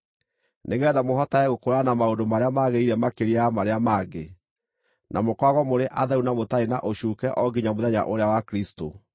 nĩgeetha mũhotage gũkũũrana maũndũ marĩa magĩrĩire makĩria ya marĩa mangĩ, na mũkoragwo mũrĩ atheru na mũtarĩ na ũcuuke o nginya mũthenya ũrĩa wa Kristũ,